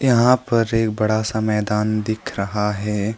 यहां पर एक बड़ा सा मैदान दिख रहा है।